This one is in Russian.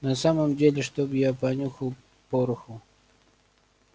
на самом деле чтобы я понюхал пороху